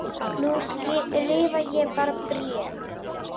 Nú skrifa ég bara bréf!